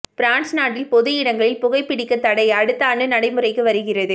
France நாட்டில் பொது இடங்களில் புகைபிடிக்கத்தடை அடுத்த ஆண்டு நடைமுறைக்கு வருகிறது